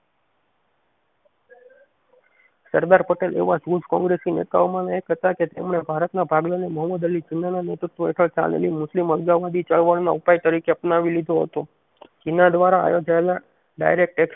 સરદાર પટેલ એવા કોગ્રેસી નેતાઓ માના એક હતા કે તેમણે ભારત ના ભાગલા ને મોહમ્મદઅલી ઝીણા ના નેતૃત્વ હેઠળ તાલીમી મુસ્લિમ ઉપજાવ વળી ચળવળ ના ઉપાય તરીકે અપનાવી લીધો હતો ઝીણા દ્વારા આયોજાયેલા ડાયરેક્ટ